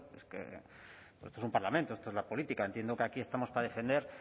es que esto es un parlamento esto es la política entiendo que aquí estamos para defender